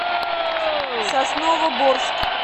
сосновоборск